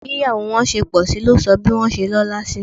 Bí ìyàwó wọn ṣe pọ̀sí ló sọ bí wọ́n ṣe lọ́la sí